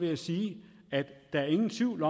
jeg sige at der ingen tvivl